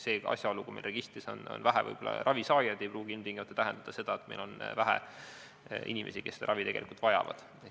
Seega, asjaolu, et registris on vähe ravi saajaid, ei pruugi ilmtingimata tähendada seda, et meil on vähe inimesi, kes seda ravi tegelikult vajavad.